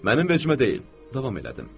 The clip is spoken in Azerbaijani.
Mənim vecimə deyil, davam elədim.